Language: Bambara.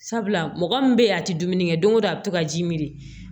Sabula mɔgɔ min bɛ ye a tɛ dumuni kɛ don go don a bɛ to ka ji mi